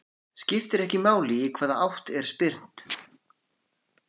Skiptir ekki máli í hvaða átt er spyrnt.